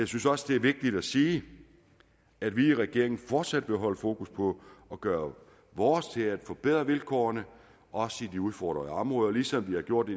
synes også det er vigtigt at sige at vi i regeringen fortsat vil holde fokus på at gøre vores til at forbedre vilkårene også i de udfordrede områder ligesom vi har gjort